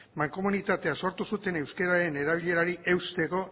mankomunitatea sortu zuten euskeraren erabilerari eusteko